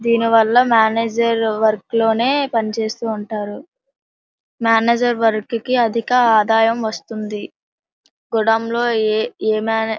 దీని వల్ల manager work లోనే పని చేస్తూ ఉంటారు. మేనేజర్ వర్క్ కి అధిక ఆదాయం వస్తుంది. గుడాం లో ఏ-ఏ మేనే --